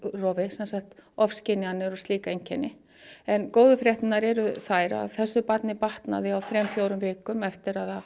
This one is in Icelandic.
sem sagt ofskynjanir og slík einkenni en góðu fréttirnar eru þær að þessu barni batnaði á þrem fjórum vikum eftir að